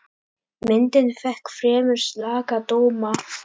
Myndin fékk fremur slaka dóma.